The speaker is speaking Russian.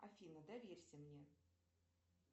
афина доверься мне